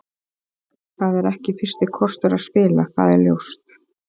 Það er ekki fyrsti kostur að spila, það er ljóst.